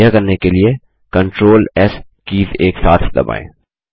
यह करने के लिए CTRLS कीज़ एकसाथ दबाएँ